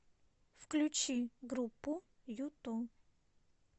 включи группу юту